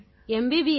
MBBS